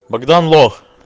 богдан лох